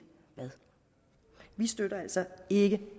hvad vi støtter altså ikke